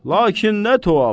Lakin nə tuhaf!